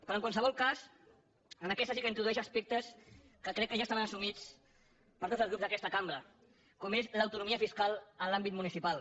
però en qualsevol cas en aquesta sí que introdueix aspectes que crec que ja estaven assumits per tots els grups d’aquesta cambra com és l’autonomia fiscal en l’àmbit municipal